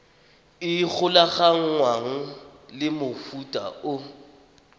e golaganngwang le mofuta o